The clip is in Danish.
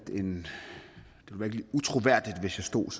utroværdigt hvis jeg stod